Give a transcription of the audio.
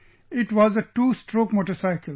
It was a two stroke motorcycle